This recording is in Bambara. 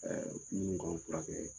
min k'an fura kɛ.